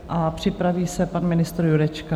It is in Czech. A připraví se pan ministr Jurečka.